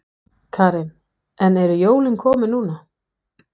Karen: En eru jólin komin núna?